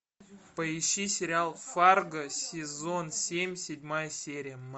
поищи сериал фарго сезон семь седьмая серия